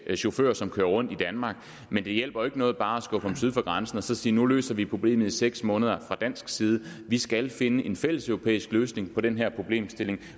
chauffør som kører rundt i danmark men det hjælper jo ikke noget bare at skubbe ham syd for grænsen og så sige at nu løser vi problemet i seks måneder fra dansk side vi skal finde en fælleseuropæisk løsning på den her problemstilling